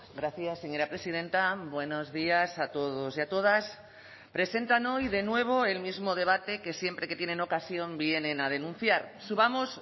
gracias señora presidenta buenos días a todos y a todas presentan hoy de nuevo el mismo debate que siempre que tienen ocasión vienen a denunciar subamos